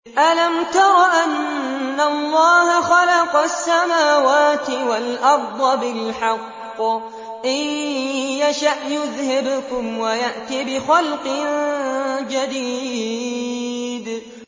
أَلَمْ تَرَ أَنَّ اللَّهَ خَلَقَ السَّمَاوَاتِ وَالْأَرْضَ بِالْحَقِّ ۚ إِن يَشَأْ يُذْهِبْكُمْ وَيَأْتِ بِخَلْقٍ جَدِيدٍ